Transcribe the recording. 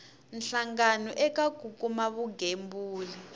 hlangano eka ku kuma vugembuli